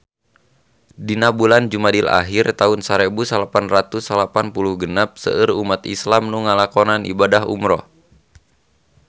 Dina bulan Jumadil ahir taun sarebu salapan ratus salapan puluh genep seueur umat islam nu ngalakonan ibadah umrah